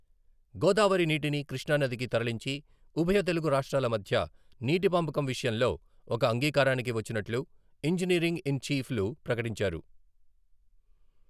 గోదావరి నీటిని కృష్ణానదికి తరలించి, ఉభయ తెలుగు రాష్ట్రాల మధ్య నీటి పంపకం విషయంలో ఒక అంగీకారానికి వచ్చినట్లు ఇంజినీరింగ్ ఇన్ చీఫ్ లు ప్రకటించారు.